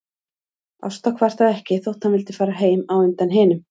Ásta kvartaði ekki þótt hann vildi fara heim á undan hinum.